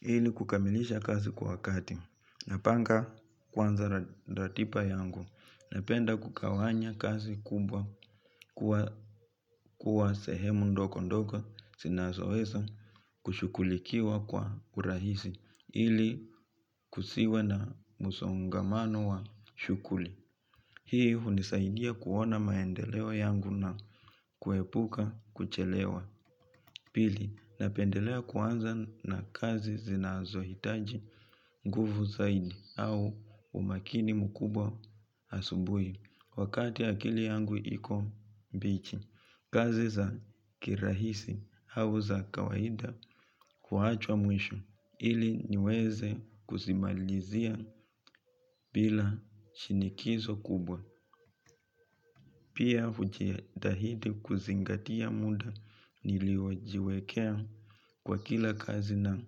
Hili kukamilisha kazi kwa wakati. Napanga kuanza ratiba yangu. Napenda kugawanya kazi kubwa kwa sehemu ndogo ndogo zinazoweza kushughulikiwa kwa urahisi. Ili kusiwe na musongamano wa shughuli. Hii hunisaidia kuona maendeleo yangu na kuepuka kuchelewa. Pili, napendelea kuanza na kazi zinazohitaji nguvu zaidi au umakini mkubwa asubui wakati akili yangu iko mbichi. Kazi za kirahisi au za kawaida kuachwa mwisho ili niweze kuzimalizia bila shinikizo kubwa. Pia hujitadi kuzingatia muda niliojiwekea kwa kila kazi na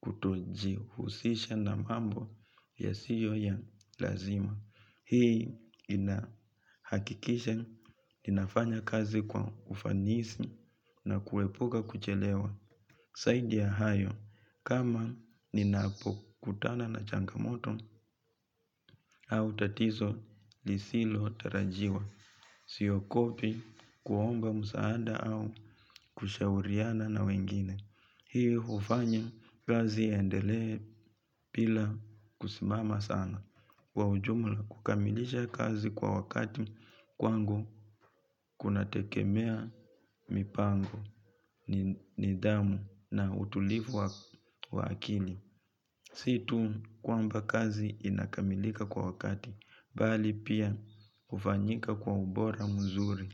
kutojihusisha na mambo yasiyo ya lazima. Hii inahakikisha, ninafanya kazi kwa ufanisi na kuepuka kuchelewa. Zaidi ya hayo, kama ninapokutana na changamoto, au tatizo lisilo tarajiwa. Siogopi kuomba msaada au kushauriana na wengine. Hii hufanya kazi iendele bila kusimama sana. Kwa ujumla kukamilisha kazi kwa wakati kwangu kunategemea mipango nidhamu na utulivu wa akili. Si tu kwamba kazi inakamilika kwa wakati, bali pia hufanyika kwa ubora mzuri.